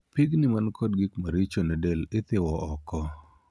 Piigni man kod gik maricho ne del ithiwo oko.